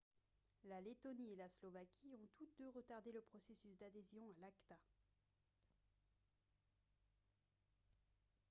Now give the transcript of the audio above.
la lettonie et la slovaquie ont toutes deux retardé le processus d'adhésion à l'acta